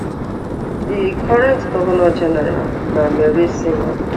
di current govnor general na mary simon